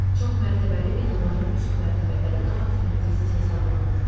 Çoxmərtəbəli binaların üst mərtəbələri daha təhlükəsiz hesab olunur.